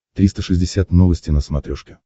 триста шестьдесят новости на смотрешке